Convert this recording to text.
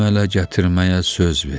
Əmələ gətirməyə söz ver.